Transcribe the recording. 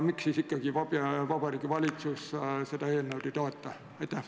Miks siis ikkagi Vabariigi Valitsus seda eelnõu ei toeta?